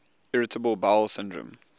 irritable bowel syndrome